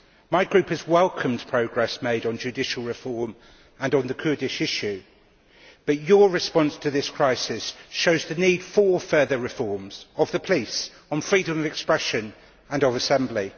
My group has welcomed progress made on judicial reform and on the Kurdish issue, but your response to this crisis shows the need for further reforms of the police, on freedom of expression and of assembly.